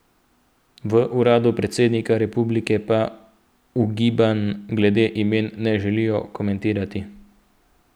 V uradu predsednika republike pa ugibanj glede imen ne želijo komentirati.